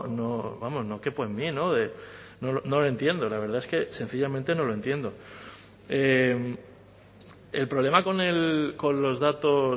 no vamos no quepo en mí no lo entiendo la verdad es que sencillamente no lo entiendo el problema con los datos